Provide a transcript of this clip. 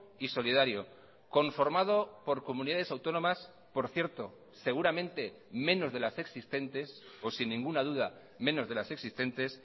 y solidario conformado por comunidades autónomas por cierto seguramente menos de las existentes o sin ninguna duda menos de las existentes